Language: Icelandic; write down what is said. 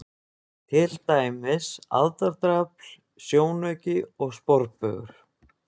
Til dæmis: aðdráttarafl, sjónauki og sporbaugur.